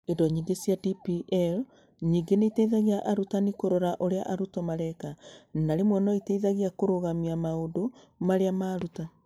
Indo nyingĩ cia DPL ningĩ nĩ iteithagia arutani kũrora ũrĩa arutwo mareka na rĩmwe no iteithie kũrũgamia maũndũ marĩa maruta.